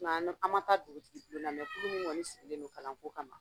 Nka an ma taa dugutigibulon na kulu min kɔni sigilen don kalanko kama